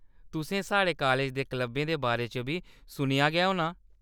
तुसें साढ़े कालेज दे क्लबें दे बारे च बी सुनेआ गै होना।